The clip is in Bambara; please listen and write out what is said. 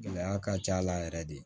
Gɛlɛya ka ca a la yɛrɛ de